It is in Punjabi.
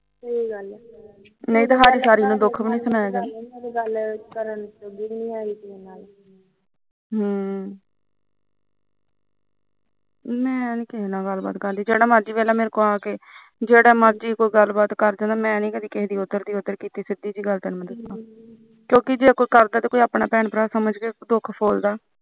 ਮੈ ਨੀ ਕਿਸੇ ਨਾਲ ਗਲਬਾਤ ਕਰਦੀ ਜਿਹੜਾ ਮਰਜੀ ਮੇਰੇ ਕੋਲ ਆ ਕੇ ਜਿਹੜਾ ਮਰਜੀ ਕੋਈ ਗੱਲਬਾਤ ਕਰ ਜਾਂਦਾਮੈਂ ਨੀ ਕਿਸੇ ਦੀ ਗਲ ਇਧਰ ਤੋਂ ਉਧਰ ਕੀਤੀ ਸਿਧੀ ਜਿਹੀ ਗਲ ਮੈਂ ਦਸਾ ਕਿਉਂਕਿ ਜੇ ਕਰਦਾ ਤਾਂ ਆਪਣਾ ਭੈਣ ਭਰਾ ਸਮਝ ਕੇ ਕਰਦਾ ਐ